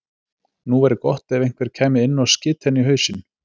Nú væri gott ef einhver kæmi inn og skyti hann í hausinn.